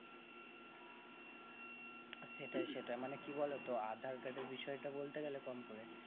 সেটাই সেটাই মানে কি বলো তো aadhar card এর বিষয় টা বলতে গেলে কম করে